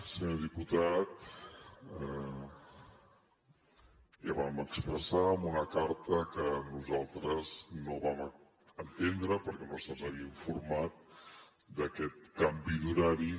senyor diputat ja vam expressar en una carta que nosaltres no vam entendre per què no se’ns havia informat d’aquest canvi d’horari